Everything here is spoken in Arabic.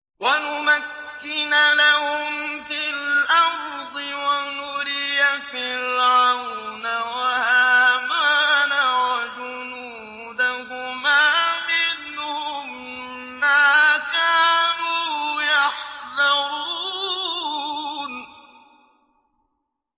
وَنُمَكِّنَ لَهُمْ فِي الْأَرْضِ وَنُرِيَ فِرْعَوْنَ وَهَامَانَ وَجُنُودَهُمَا مِنْهُم مَّا كَانُوا يَحْذَرُونَ